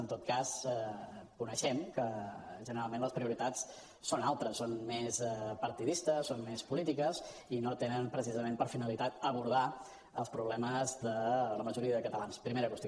en tot cas coneixem que generalment les prioritats són altres són més partidistes són més polítiques i no tenen precisament per finalitat abordar els problemes de la majoria de catalans primera qüestió